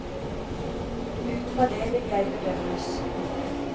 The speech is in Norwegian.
Ut fra det vil jeg bedømmes.